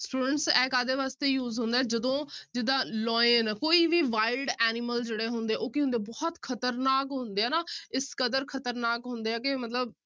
Students ਇਹ ਕਾਹਦੇ ਵਾਸਤੇ use ਹੁੰਦਾ ਹੈ ਜਦੋਂ ਜਿੱਦਾਂ lion ਕੋਈ ਵੀ wild animal ਜਿਹੜੇ ਹੁੰਦੇ ਆ ਉਹ ਕੀ ਹੁੰਦੇ ਆ ਬਹੁਤ ਖ਼ਤਰਨਾਕ ਹੁੰਦੇ ਆ ਨਾ ਇਸ ਕਦਰ ਖ਼ਤਰਨਾਕ ਹੁੰਦੇ ਆ ਕਿ ਮਤਲਬ